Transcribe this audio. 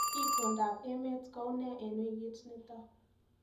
Itondoab emet koune eng wikit nito